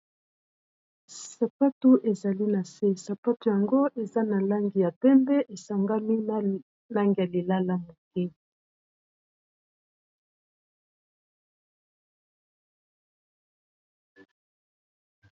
Sapatu ezali na se, sapatu yango eza na langi ya pembe, e sangani na langi ya lilala moke .